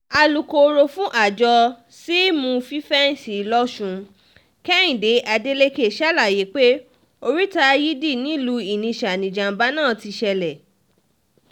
alūkkóró fún àjọ símù fífẹ́ǹsì lọ́sùn kehinde adeleke ṣàlàyé pé oríta yidi nìlúu inisa nìjàmbá náà ti ṣẹlẹ̀